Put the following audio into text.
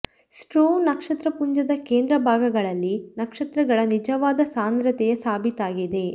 Struve ನಕ್ಷತ್ರ ಪುಂಜದ ಕೇಂದ್ರ ಭಾಗಗಳಲ್ಲಿ ನಕ್ಷತ್ರಗಳ ನಿಜವಾದ ಸಾಂದ್ರತೆಯ ಸಾಬೀತಾಗಿದೆ